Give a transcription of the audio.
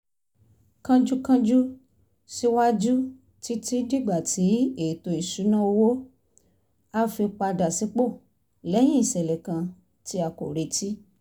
kánjúkánjú síwájú títí dìgbà tí ètò ìṣúnná owó á fi padà sípò lẹ́yìn ìṣẹ̀lẹ̀ kan tí a kò retí